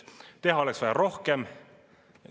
Teha oleks vaja rohkem.